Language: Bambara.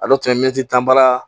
A dɔw tun ye mɛtiri tan baara